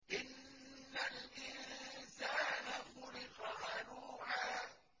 ۞ إِنَّ الْإِنسَانَ خُلِقَ هَلُوعًا